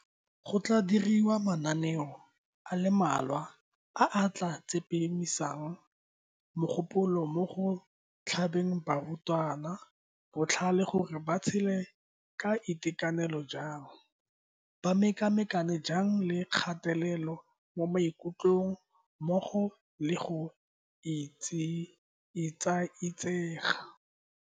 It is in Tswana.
Go tla diriwa mananeo a le mmalwa a a tla tsepamisang mogopolo mo go tlhabeng barutwana botlhale gore ba tshele ka itekanelo jang, ba mekamekane jang le kgatelelo mo maikutlong mmogo le go etsaetsega.